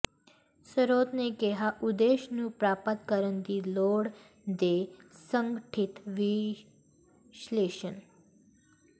ਸਰੋਤ ਨੇ ਕਿਹਾ ਉਦੇਸ਼ ਨੂੰ ਪ੍ਰਾਪਤ ਕਰਨ ਦੀ ਲੋੜ ਦੇ ਸੰਗਠਿਤ ਵਿਸ਼ਲੇਸ਼ਣ